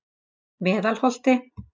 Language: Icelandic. Meðalholti